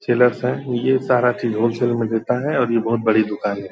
Chillers है ये सारा चीज होलेसले मे मिलता है और ये बड़ी दूकान है।